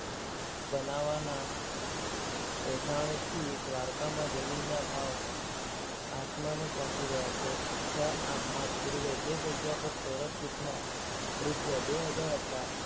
બનાવાના. એધાણીથી દ્વારકામાં જમીનના ભાવ આસમાને પહોંચી ગયા છે. છ આઠ માસ પૂર્વે જે જગ્યાએ ચોરસ ફૂટના રૂપિયા બે હજાર હતા